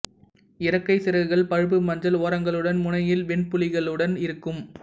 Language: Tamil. இறக்கை சிறகுகள் பழுப்பு மஞ்சள் ஓரங்களுடன் முனையில் வெண்புள்ளிகளுடன் இருக்கும்